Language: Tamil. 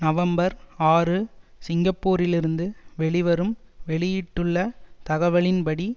நவம்பர் ஆறு சிங்கப்பூரிலிருந்து வெளிவரும் வெளியிட்டுள்ள தகவலின்படி